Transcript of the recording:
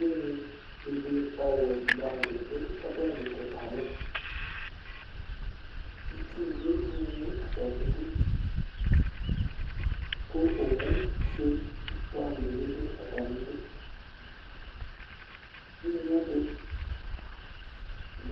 ʋnyi ɔwʋ bʋamʋ di dʋ ɔbɛ ditʋ kayɛ, itsʋ dʋ ʋnyiɛ atami idʋ kʋ ɔwʋ ƒʋɛ bʋamʋ dibi dʋ atami idʋ, ʋnyiɛ di